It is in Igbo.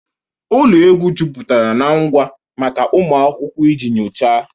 Ụlọ egwu jupụtara na ngwa maka ụmụ akwụkwọ iji nyochaa.